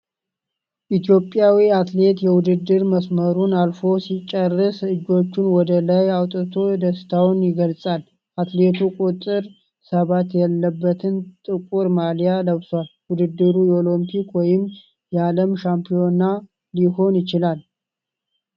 ኢትዮጵያዊ አትሌት የውድድር መስመሩን አልፎ ሲጨርስ እጆቹን ወደ ላይ አውጥቶ ደስታውን ይገልጻል። አትሌቱ ቁጥር ሰባት ያለበትን ጥቁር ማሊያ ለብሷል። ውድድሩ የኦሎምፒክ ወይም የዓለም ሻምፒዮና ሊሆን ይችላል?